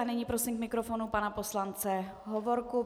A nyní prosím k mikrofonu pana poslance Hovorku.